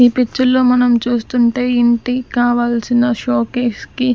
ఈ పిక్చర్ లో మనం చూస్తుంటే ఇంటి కావాల్సిన షోకేస్ కి --